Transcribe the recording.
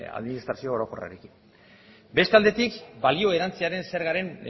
administrazio orokorrari beste aldetik balio erantsiaren zergaren